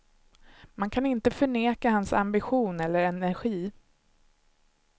Man kan inte förneka hans ambition eller energi.